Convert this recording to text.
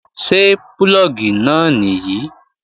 Ṣé púlọ̀gì náà nìyí?